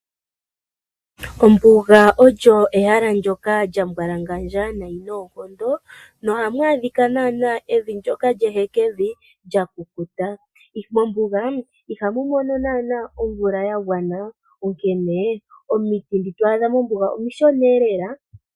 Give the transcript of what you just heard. Ombuga olyo ehala ndjoka lya mbwalangandja nayi noonkondo, no hamu adhika nanaa evi lyoka lye hekevi lya kukuta. Mombuga ihamu mono nanaa omvula ya gwana, onkene omiti dhoka to adha mombuga omishona eelela.